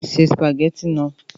Se sìpàgẹ́tì náà!